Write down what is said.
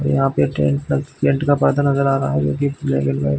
यहाँ पे tent tent का पर्दा नज़र आ रहा है जो की ब्लैक एण्ड व्हाइट --